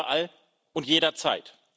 Überall und jederzeit.